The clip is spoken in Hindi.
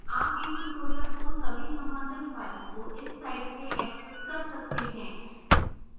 आप इन tutorials को सभी सम्बंधित files को इस site से access कर सकते हैं